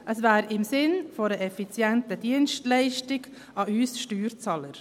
Es wäre im Sinn einer effizienten Dienstleistung an uns Steuerzahlern.